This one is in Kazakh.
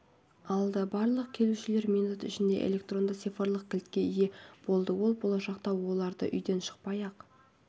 алды барлық келушілер минут ішінде электронды цифрлық кілтке ие болды ол болашақта оларды үйден шықпай-ақ